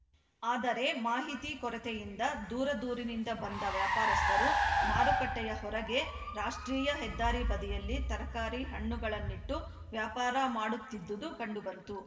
ಆದರೆ ಮಾಹಿತಿ ಕೊರತೆಯಿಂದ ದೂರದೂರಿನಿಂದ ಬಂದ ವ್ಯಾಪಾರಸ್ಥರು ಮಾರುಕಟ್ಟೆಯ ಹೊರಗೆ ರಾಷ್ಟ್ರೀಯ ಹೆದ್ದಾರಿ ಬದಿಯಲ್ಲಿ ತರಕಾರಿ ಹಣ್ಣುಗಳನ್ನಿಟ್ಟು ವ್ಯಾಪಾರ ಮಾಡುತ್ತಿದ್ದುದು ಕಂಡುಬಂತು